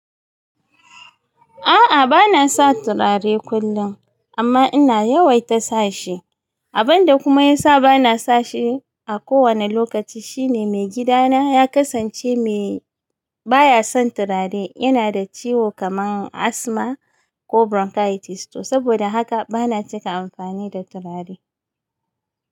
A'a bana sa turare kullum amma ina yawai ta sa shi. Abin da kuma ya sa bana sa shi a kowane lokaci shine maigidana ya kasance mai baya son turare. Ina da ciwo kamar asthma ko bronchitis. To saboda haka bana cika amfani da turare.